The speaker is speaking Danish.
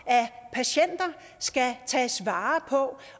patienter skal tages vare på